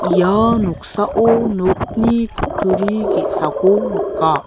ia noksao nokni kutturi ge·sako nika.